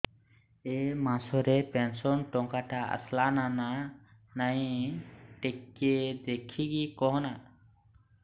ଏ ମାସ ରେ ପେନସନ ଟଙ୍କା ଟା ଆସଲା ନା ନାଇଁ ଟିକେ ଦେଖିକି କହନା